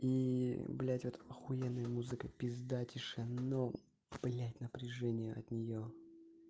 блядь вот ахуенная музыка пизда тишино блядь напряжение от нее